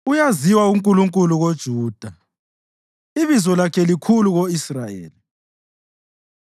Uyaziwa uNkulunkulu koJuda ibizo lakhe likhulu ko-Israyeli.